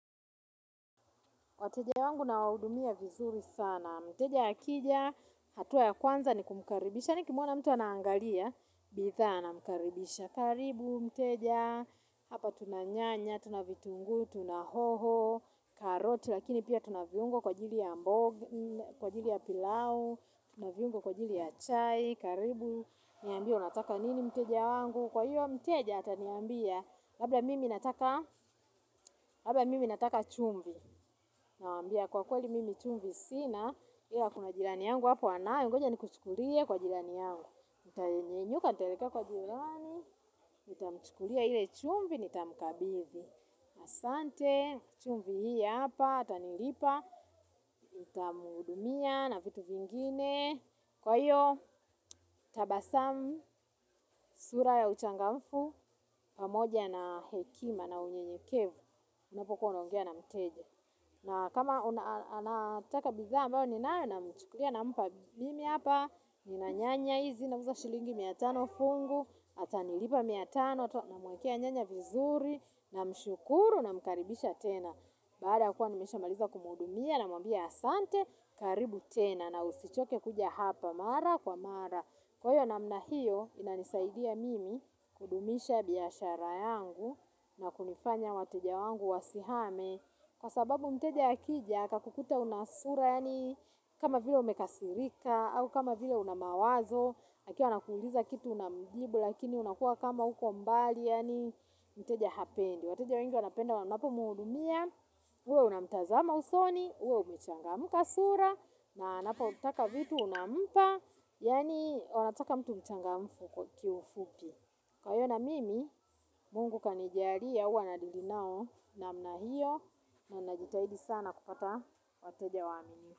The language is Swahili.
Wateja wangu nawahudumia vizuri sana. Mteja akija, hatua ya kwanza ni kumkaribisha. Nikimuona mtu anaangalia, bidhaa namkaribisha. Karibu, mteja, hapa tuna nyanya, tuna vitunguu, tuna hoho, karoti. Lakini pia tuna viungo kwa ajili ya pilau, tuna viungo kwa ajili ya chai. Karibu, niambie unataka nini mteja wangu. Kwa hiyo mteja ataniambia, labda mimi nataka chumvi. Namwambia kwa kweli mimi chumvi sina, ila kuna jirani yangu hapo anayo, goja nikuchukulie kwa jirani yangu. Nitanyenyuka nitaelekea kwa jirani, nitamchukulia ile chumvi, nitamkabidhi, asante, chumvi hii hapa, atanilipa, nitamhudumia na vitu vingine, kwa hiyo tabasamu, sura ya uchangamfu, pamoja na hekima na unyenyekevu, unapokuwa unaongea na mteja. Na kama anataka bidaa ambayo ninayo namchukulia nampa mimi hapa, nina nyanya hizi nauza shilingi mia tano fungu, atanilipa mia tano namuwekea nyanya vizuri namshukuru namkaribisha tena. Baada ya kuwa nimeshamaliza kumuhudumia namwambia asante, karibu tena na usichoke kuja hapa mara kwa mara. Kwa hiyo namna hiyo inanisaidia mimi kudumisha biashara yangu na kunifanya wateja wangu wasihame kwa sababu mteja akija akakukuta una sura yaani kama vile umekasirika au kama vile una mawazo akiwa anakuliza kitu unamjibu lakini unakuwa kama uko mbali yaani mteja hapendi. Wateja wengi wanapenda wanapo muhudumia, uwe unamtazama usoni, uwe umechangamka sura, na anapotaka vitu unampa, yaani wanataka mtu mchangamfu kwa kiufupi. Kwa hiyo na mimi, mungu kanijalia, huwa nadeal nao namna hio, na najitahidi sana kupata wateja waaminifu.